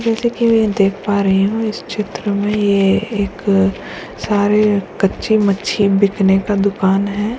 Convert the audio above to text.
जैसे की मैं देख पार रही हूँ इस चित्र में एक सारे कच्चे मच्छी बिकने का दुकान है।